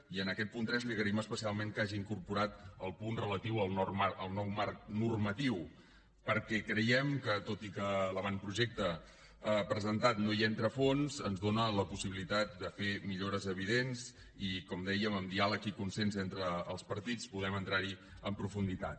i en aquest punt tres li agraïm especialment que hagi incorporat el punt relatiu al nou marc normatiu perquè creiem que tot i que l’avantprojecte presentat no hi entra a fons ens dóna la possibilitat de fer millores evidents i com dèiem amb diàleg i consens entre els partits podem entrar hi amb profunditat